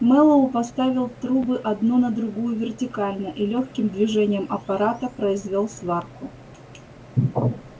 мэллоу поставил трубы одну на другую вертикально и лёгким движением аппарата произвёл сварку